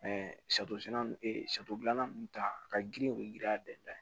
gilanna ninnu ta ka girin u bɛ girin a dɛn